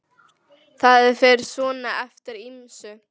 Það fer svona eftir ýmsu.